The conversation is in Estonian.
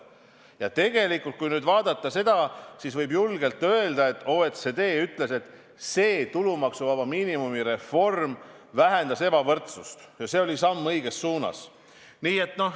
Ja tegelikult, kui nüüd seda vaadata, siis võib julgelt öelda, nagu ka OECD ütles, et tulumaksuvaba miinimumi reform vähendas ebavõrdsust ja see oli samm õiges suunas.